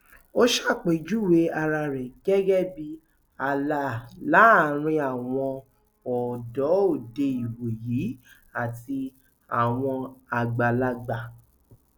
ó ṣàpèjúwe ara rẹ gẹgẹ bíi ààlà láàrin àwọn ọdọ òde ìwòyí àti àwọn àgbàlagbà